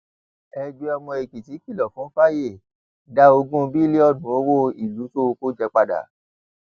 ẹgbẹ ọmọ èkìtì kìlọ fún fàyè dá ogún bílíọnù owó ìlú tó o kò jẹ padà